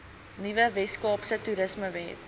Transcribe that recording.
nuwe weskaapse toerismewet